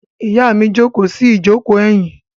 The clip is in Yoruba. Ìyá mi jókòó sí ìjókòó ẹ̀yìn.